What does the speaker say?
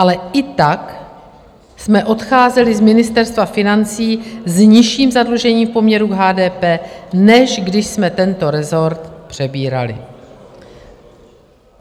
Ale i tak jsme odcházeli z Ministerstva financí s nižším zadlužením v poměru k HDP, než když jsme tento rezort přebírali.